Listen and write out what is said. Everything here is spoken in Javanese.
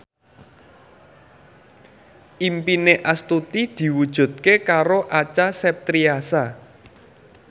impine Astuti diwujudke karo Acha Septriasa